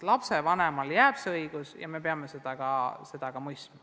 Lapsevanemale jääb see õigus ja me peame seda mõistma.